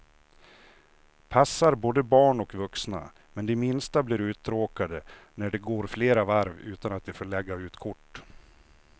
Passar både barn och vuxna, men de minsta blir uttråkade när det går flera varv utan att de får lägga ut kort.